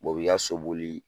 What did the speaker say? u b'i ka so boli